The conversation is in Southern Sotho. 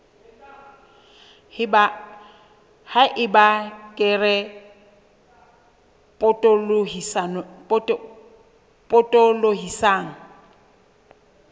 ha eba kere e potolohisang